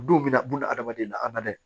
Don min na buna adamaden la adamaden